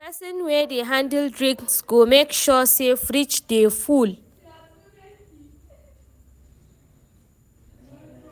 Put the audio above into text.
Pesin wey dey handle drinks go make sure say fridge dey full.